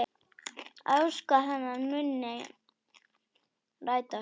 Að ósk hennar muni rætast.